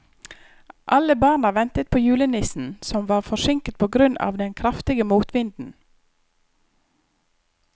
Alle barna ventet på julenissen, som var forsinket på grunn av den kraftige motvinden.